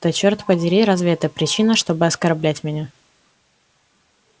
да черт подери разве это причина чтобы оскорблять меня